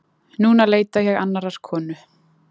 Núna leita ég annarrar konu.